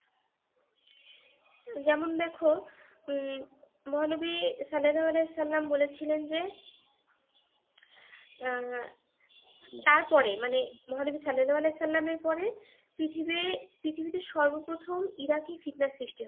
যেমন দেখ, উম মহানবী সাল্লাল্লাহু আলাইহে সাল্লাম বলেছিলেন যে, আহ তার পরে মানে মহানবী সাল্লাহু সাল্লাম এর পরে পৃথিবী পৃথিবীতে সর্বপ্রথম ইরাকী ফিৎনা সৃষ্টি হবে।